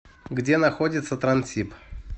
где находится транссиб